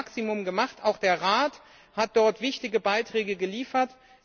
Wir haben das Maximum getan auch der Rat hat wichtige Beiträge dazu geliefert.